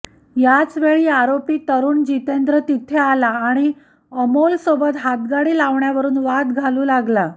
याचवेळी आरोपी तरुण जितेंद्र तिथे आला आणि अमोल सोबत हातगाडी लावण्यावरून वाद घालू लागला